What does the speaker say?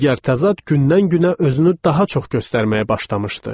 Digər təzad gündən-günə özünü daha çox göstərməyə başlamışdı.